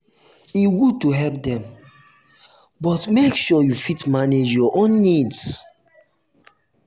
e good to help dem to help dem but make sure you fit manage your own needs.